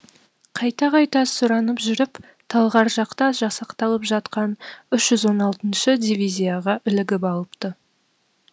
қайта қайта сұранып жүріп талғар жақта жасақталып жатқан үш жүз он алтыншы дивизияға ілігіп алыпты